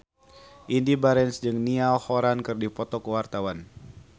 Indy Barens jeung Niall Horran keur dipoto ku wartawan